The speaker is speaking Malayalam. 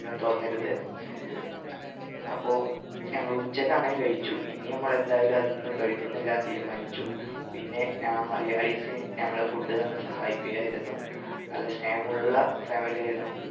ഒന്നും തോന്നരുത് അപ്പൊ ഞങ്ങള് ഉച്ചയ്ക്ക് അങ്ങനെ കഴിച്ചു ഇനി നമ്മള് എന്തായാലും അന്ന് കഴിക്കുന്നില്ലാന്ന് തീരുമാനിച്ചു പിന്നെ ആ malayalees ഞങ്ങളെ food തന്ന് സഹായിക്കുകയായിരുന്നു നല്ല സ്നേഹമുള്ള family ആയിരുന്നു